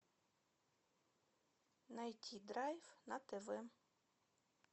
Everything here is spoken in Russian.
найти драйв на тв